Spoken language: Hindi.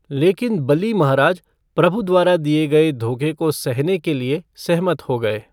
लेकिन बली महाराज प्रभु द्वारा दिए गए धोखे को सहने के लिए सहमत हो गए।